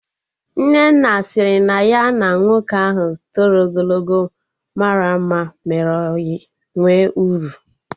Nnenna sịrị na ya na nwoke ahụ toro ogologo mara mma mere ọyị nwe uru